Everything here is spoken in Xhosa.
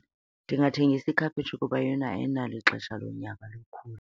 Ndingathengisa ikhaphetshu kuba ayona ayinalo ixesha lonyaka lokhula.